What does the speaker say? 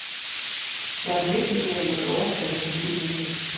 Jeg har bevidst ikke nævnt noget årstal, for det er ikke muligt.